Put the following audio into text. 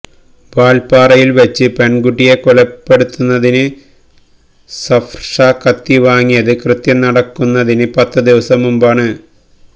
വാല്പ്പാറയില് വച്ച് പെണ്കുട്ടിയെ കൊലപ്പെടുത്തുന്നതിന് സഫര്ഷാ കത്തി വാങ്ങിയത് കൃത്യം നടത്തുന്നതിന് പത്ത് ദിവസം മുമ്പാണ്